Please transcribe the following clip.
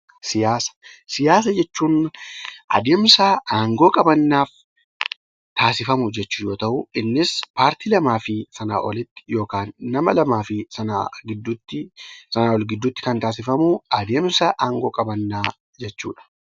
Siyaasa jechuun adeemsa aangoo qabannaaf taasifamu yommuu ta'u, innis paartii lamaa fi Sanaa ol yookaan nama lamaa fi Sanaa ol gidduutti kan taasifamu adeemsa aangoo qabannaa jechuudha